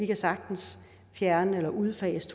kan sagtens fjerne eller udfase